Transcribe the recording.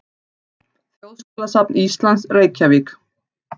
Þjóðskjalasafn Íslands, Reykjavík.